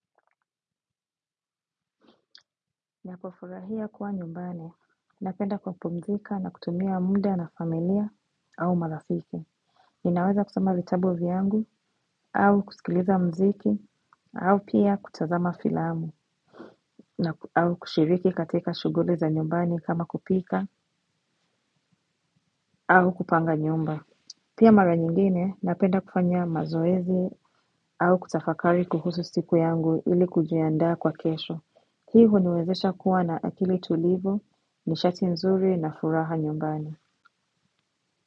Ninapofurahia kuwa nyumbani, napenda kupumzika na kutumia muda na familia au marafiki. Ninaweza kusoma vitabu vyangu au kusikiliza mziki au pia kutazama filamu au kushiriki katika shughuli za nyumbani kama kupika au kupanga nyumba. Pia mara nyingine napenda kufanya mazoezi au kutafakari kuhusu siku yangu ili kujiandaa kwa kesho. Hii huniwezesha kuwa na akili tulivu, nishati nzuri na furaha nyumbani.